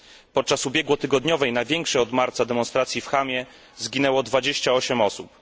Podczas ubiegłotygodniowej, największej od marca demonstracji w Hamie zginęło 28 osób.